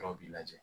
Yɔrɔ b'i lajɛ